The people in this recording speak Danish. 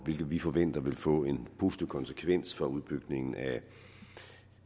vi forventer vil få en positiv konsekvens for udbygningen af